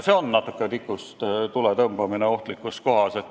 See on natuke nagu tikust tule tõmbamine ohtlikus kohas.